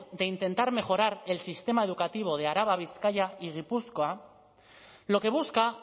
de intentar mejorar el sistema educativo de araba bizkaia y gipuzkoa lo que busca